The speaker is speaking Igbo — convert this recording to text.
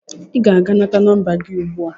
Ị ga-aga nata nọmba gị ugbu a!